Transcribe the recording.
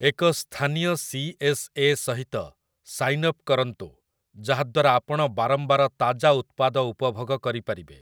ଏକ ସ୍ଥାନୀୟ C. S. A. ସହିତ ସାଇନ୍ ଅପ୍ କରନ୍ତୁ ଯାହାଦ୍ଵାରା ଆପଣ ବାରମ୍ବାର ତାଜା ଉତ୍ପାଦ ଉପଭୋଗ କରିପାରିବେ ।